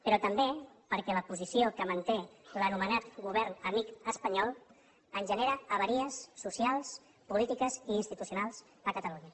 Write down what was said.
però també perquè la posició que manté l’anomenat govern amic espanyol ens genera avaries socials polítiques i institucionals a catalunya